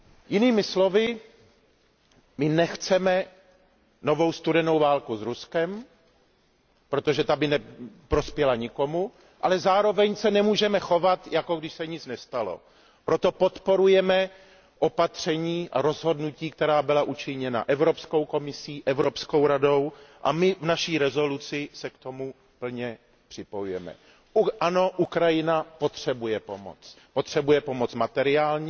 Jinými slovy, my nechceme novou studenou válku s Ruskem, protože ta by neprospěla nikomu, ale zároveň se nemůžeme chovat, jako když se nic nestalo. Proto podporujeme opatření a rozhodnutí, která byla učiněna Evropskou komisí a Evropskou radou, a my se k nim v našem usnesení plně připojujeme. Ano, Ukrajina potřebuje pomoc. Potřebuje pomoc materiální,